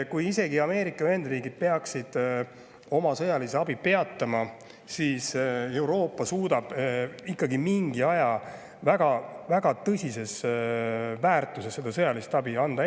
Isegi kui Ameerika Ühendriigid peaksid oma sõjalise abi peatama, suudab Euroopa mingi aja väga tõsise väärtusega sõjalist abi edasi anda.